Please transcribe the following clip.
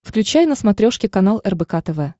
включай на смотрешке канал рбк тв